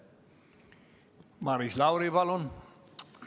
Maris Lauri, palun!